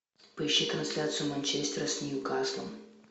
поищи трансляцию манчестера с ньюкаслом